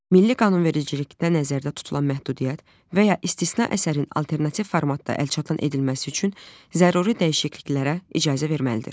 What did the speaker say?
Milli qanunvericilikdə nəzərdə tutulan məhdudiyyət və ya istisna əsərin alternativ formatda əlçatan edilməsi üçün zəruri dəyişikliklərə icazə verməlidir.